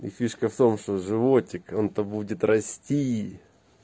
и фишка в том что животик он то будет рости